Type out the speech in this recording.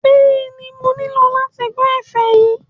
Bẹ́ẹ̀ni, mo nílò láti gbọ́ ẹ̀fẹ̀ yìí